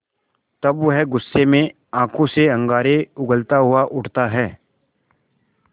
तब वह गुस्से में आँखों से अंगारे उगलता हुआ उठता है